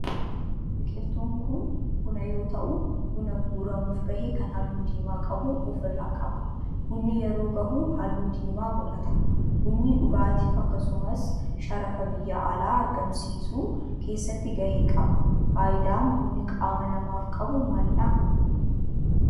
Biqiltuun kun buna yoo ta'u buna guuramuf gahe kan halluu diimaa qabu of irraa qaba. Bunni yeroo gahu halluu diimaa godhata. Bunni dhugaatif akkasumas sharafa biyyaa alaa argamsiisuu keessatti gahee qaba. Faayidaan bunni qaama namaaf qabu maalidha?